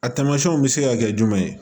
A tamasiyɛnw bɛ se ka kɛ jumɛn ye